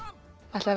ætlið